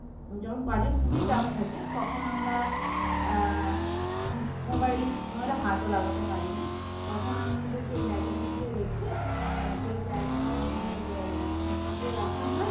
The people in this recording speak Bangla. যখন কাজের খুবই চাপ থাকে তখন আমরা হ্যাঁ mobile এ হাতও লাগাতে পারি না তখন আমাদেরকে ব্যাগের মধ্যে রেখে যেই জায়গায় আমাদের জিনিসপত্র রাখা হয়